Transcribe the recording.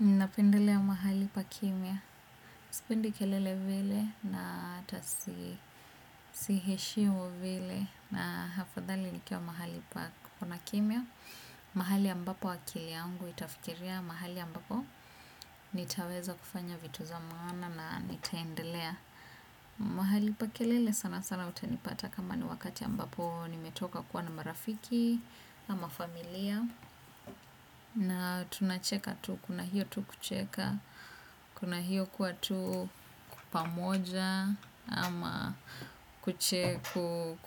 Ninapendelea pahali pa kimya. Sipendi kelele vile na hata si, siheshimu vile na hafadhali nikiwa mahali pa kuna kimya. Mahali ambapo akili yangu itafikiria, mahali ambapo nitaweza kufanya vitu za maana na nitaendelea. Mahali pa kelele sana sana utanipata kama ni wakati ambapo nimetoka kuwa na marafiki ama familia. Na tunacheka tu, kuna hiyo tu kucheka. Kuna hiyo kuwa tu pamoja. Ama